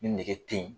Ni nege te yen